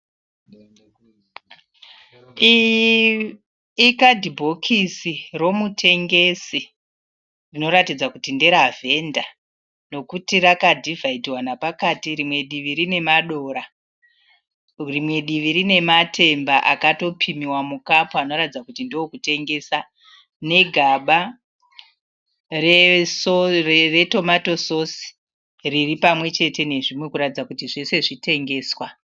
Ikadhibhokisi romutengesi rinoratidza kuti nderavhenda nokuti rakadhivhaidhiwa nepakati rimwe divi rine madora rimwe divi rine matemba akatopimiwa mukapu anoratidza kuti ndewokutengesa, negaba retomato sosi riri pamwechete nezvimwe kuratidza kuti zvese zvitengeswa.